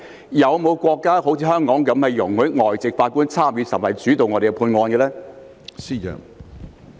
是否有國家好像香港般容許外籍法官參與審判甚至主導審判案件呢？